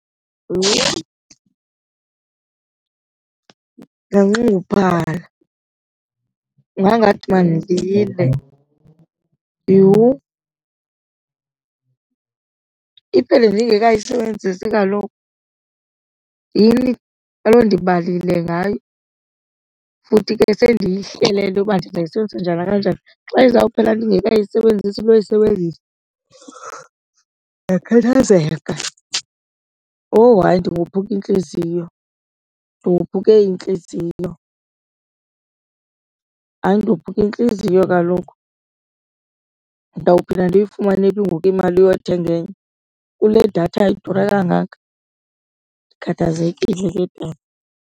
Yho, ndinganxunguphala. Ingangathi mandilile yhu. Iphele ndingekayisebenzisi kaloku yini? Kaloku ndibale ngayo futhi ke sendiyihlelele uba ndizoyisebenzisa njani kanjani. Xa izawuphela ndingekayisebenzisi noyisebenzise ndingakhathazeka, owu hayi ndingothuka intliziyo ndophuke intliziyo. Hayi, ndophuke intliziyo kaloku. Ndawuphinda ndiyifumane phi ngoku imali yothenga enye kule datha idura kangaka? Ndikhathazekile ke tana.